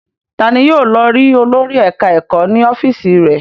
Ta ni yóò lọ rí olórí ẹ̀ka-ẹ̀kọ́ ní ọ́fíísì rẹ̀?